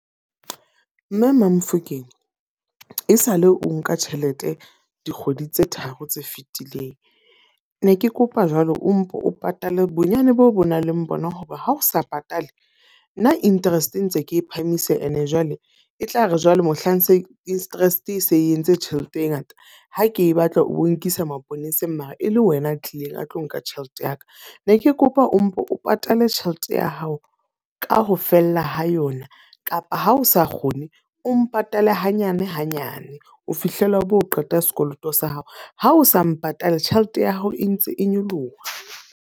Mme ma-Mofokeng e sa le o nka tjhelete dikgwedi tse tharo tse fetileng. Ne ke kopa jwalo o mpo o patale bonyane boo o nang le bona, hoba ha o sa patale nna interest ntse ke phahamisa. E ne jwale, e tla re jwale mohlang interest e se entse tjhelete e ngata. Ha ke e batla o bo nkisa maponeseng mara e le wena a tlileng a tlo nka tjhelete ya ka. Ne ke kopa o mpo o patala le tjhelete ya hao ka ho fella ho yona kapa ha o sa kgone o mpatale hanyane hanyane ho fihlela o bo qeta sekoloto sa hao. Ha o sa mpatale, tjhelete ya hao e ntse e nyoloha.